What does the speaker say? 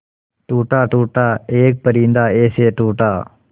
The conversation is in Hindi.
टूटा टूटा एक परिंदा ऐसे टूटा